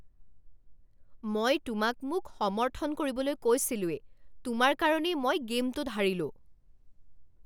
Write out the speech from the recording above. মই তোমাক মোক সমৰ্থন কৰিবলৈ কৈছিলোৱেই! তোমাৰ কাৰণেই মই গে'মটোত হাৰিলোঁ!